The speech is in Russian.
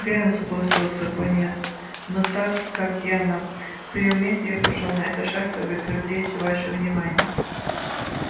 верно согласился пониетс но так как я на своём месте я пошёл на этот шаг чтобы привлечь ваше внимание